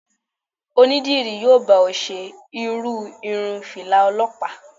Onídìrí yóò bá ọ ṣe irú irun Fìlà Ọlọ́pàá.